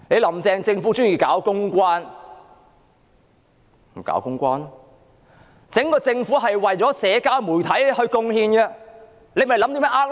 "林鄭"政府喜歡搞公關，於是整個政府都是為社交媒體而貢獻，設法"呃 Like"。